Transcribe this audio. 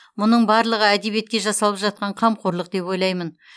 мұның барлығы әдебиетке жасалып жатқан қамқорлық деп ойлаймын